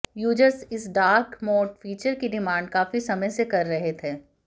users इस dark mode features की demand काफी समय से कर रहे थे